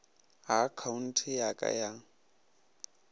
ga akhaonte ya ka ya